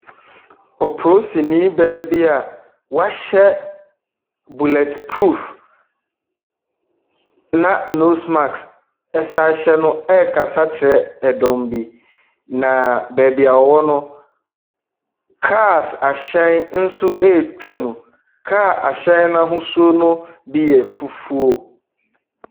Opoosini baa bi a wahyɛ bulletproof na nose mask ɛsan hyɛ no ɛrekasa kyerɛ ɛdɔm bi, na beebi ɔwɔ no, cars ahyɛn nso ɛretwa mu. Kaa ahyɛn n’ahosuo no bi yɛ fufuo.